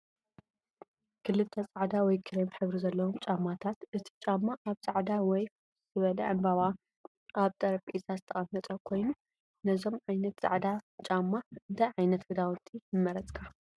ክልተ ጻዕዳ ወይ ክሬም ሕብሪ ዘለዎም ጫማታት። እቲ ጫማ ኣብ ጻዕዳ ወይ ፍኹስ ዝበለ ዕምበባ ኣብ ጠረጴዛ ዝተቐመጠ ኮይኑ፡ ነዞም ዓይነት ጻዕዳ ጫማ እንታይ ዓይነት ክዳውንቲ ምመረጽካ?